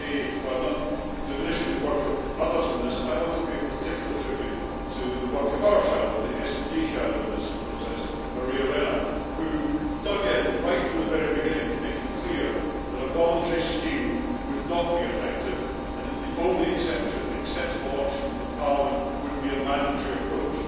While not diminishing the work of others in this, I want to pay particular tribute to the work of the SD shadow in this process, Maria Arena, who dug in right from the very beginning to make it clear that a voluntary scheme would not be effective, and that the only acceptable option for Parliament would be a mandatory approach.